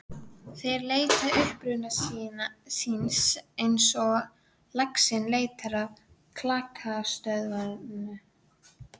Þeir leita uppruna síns eins og laxinn leitar á klakstöðvarnar.